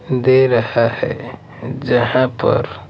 दे रहा है जहां पर।